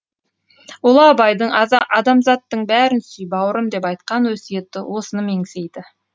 ұлы абайдың адамзаттың бәрін сүй бауырым деп айтқан өсиеті осыны меңзейді